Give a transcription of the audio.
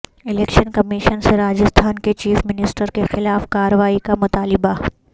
election commission سے راجستھان کے chief minister کے خلاف کارروائی کا مطالبہ